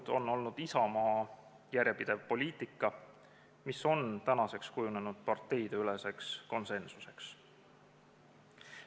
See on olnud Isamaa järjepidev poliitika, mis on tänaseks kujunenud parteideüleseks konsensuseks.